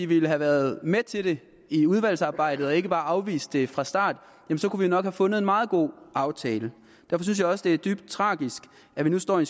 ville have været med til det i udvalgsarbejdet i at afvise det fra start kunne vi nok have fundet en meget god aftale derfor synes jeg også det er dybt tragisk at vi nu står i